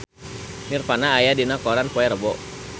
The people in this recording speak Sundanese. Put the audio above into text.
Nirvana aya dina koran poe Rebo